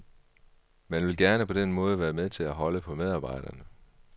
Man vil gerne på den måde være med til at holde på medarbejderne.